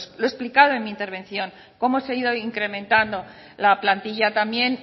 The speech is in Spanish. lo he explicado en mi intervención cómo se ha ido incrementando la plantilla también